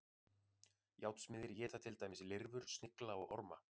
Járnsmiðir éta til dæmis lirfur, snigla og orma.